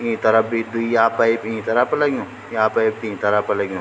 ईं तरफ भी द्वि या पाइप ईं तरफ लग्युं यां पाइप तीन तरफ लग्युं।